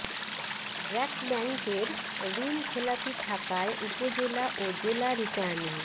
ব্র্যাক ব্যাংকের ঋণ খেলাপি থাকায় উপজেলা ও জেলা রিটার্নিং